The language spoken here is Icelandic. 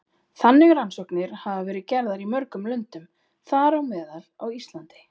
Þannig rannsóknir hafa verið gerðar í mörgum löndum, þar á meðal á Íslandi.